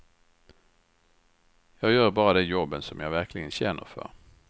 Jag gör bara de jobben som jag verkligen känner för.